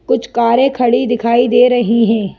कुछ कारें खड़ी दिखाई दे रही हैं।